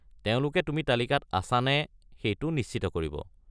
তেওঁলোকে তুমি তালিকাত আছা নে সেইটো নিশ্চিত কৰিব।